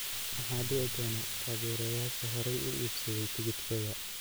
Maxaa dhici doona taageerayaasha horey u iibsaday tigidhada?